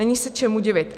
Není se čemu divit.